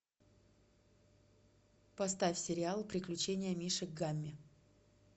поставь сериал приключения мишек гамми